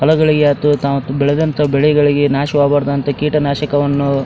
ಪಲಗಳಿಗೆ ಅತುತಮ್ ಬೆಳೆದಂತ ಬೆಳೆಗಳಿಗೆ ನಾಶವಾಗಬಾರದಂತ ಕೀಟನಾಶಕವನ್ನು --